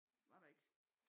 Det var der ikke